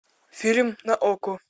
фильм на окко